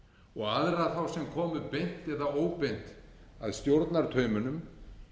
og aðra þá sem komu beint eða óbeint að stjórnartaumunum